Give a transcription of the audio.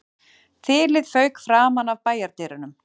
Þilið fauk framan af bæjardyrunum